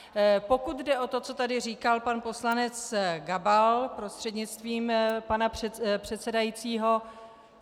Pokud jde o to, co tady říkal pan poslanec Gabal prostřednictvím pana předsedajícího.